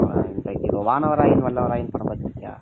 இந்த வானவராயன் வல்லவராயன் படம் பார்த்து இருக்கியா